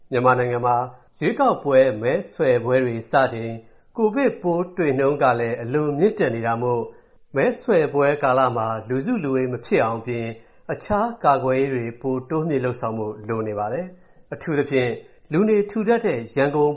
မြန်မာနိုင်ငံမှာ ရွေးကောက်ပွဲ မဲဆွယ်ပွဲတွေစချိန်၊ ကိုဗစ်ပိုးတွေ့နှုန်း အလွန်မြင့်တက်နေတာမို့၊ မဲဆွယ်ပွဲကာလမှာ လူစုလူဝေး မဖြစ်အောင်အပြင် အခြားကာကွယ်ရေးတွေ ပိုတိုးမြှင့်လုပ်ဆောင်ဖို့ လိုနေပါတယ်။ အထူးသဖြင့် လူနေထူထပ်တဲ့ ရန်ကုန်